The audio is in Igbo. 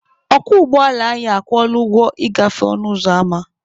Ọkwọ ụgbọala anyị akwụọla ụgwọ ịgafe ọnụ ụzọ ama.